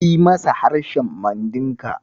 Yi masa harshen Mandinka.